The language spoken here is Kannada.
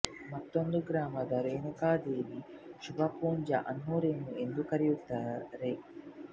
ಮತ್ತೊಂದು ಗ್ರಾಮದ ರೇಣುಕಾ ದೇವಿ ಶುಭ ಪೂಂಜಾ ಅನ್ನು ರೆನು ಎಂದು ಕರೆಯುತ್ತಾರೆ